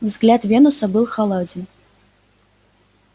взгляд венуса был холоден